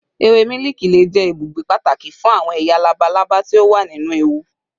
Ewe miliki le jẹ ibugbe pataki fun awọn eya labalaba ti o wa ninu ewu